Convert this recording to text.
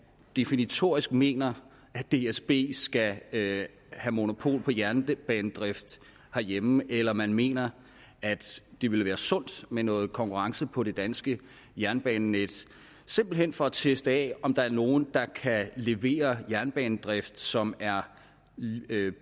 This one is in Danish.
definitorisk mener at dsb skal have monopol på jernbanedrift herhjemme eller om man mener at det ville være sundt med noget konkurrence på det danske jernbanenet simpelt hen for at teste om der er nogen der kan levere jernbanedrift som er